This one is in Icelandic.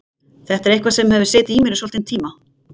Þetta er eitthvað sem hefur setið í mér í svolítinn tíma.